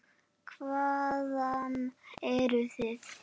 Hvaðan eruð þið?